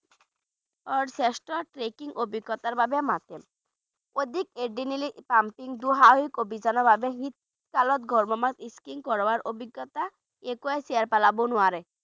আহ শ্ৰেষ্ঠ trekking অভিজ্ঞতাৰ বাবে মাতে শীতকালত একোৱেই ছেৰ পেলাব নোৱাৰে